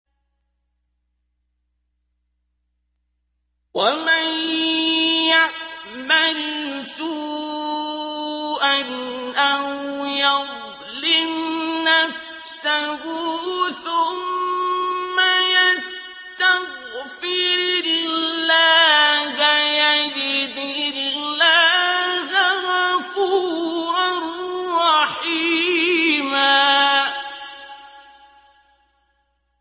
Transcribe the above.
وَمَن يَعْمَلْ سُوءًا أَوْ يَظْلِمْ نَفْسَهُ ثُمَّ يَسْتَغْفِرِ اللَّهَ يَجِدِ اللَّهَ غَفُورًا رَّحِيمًا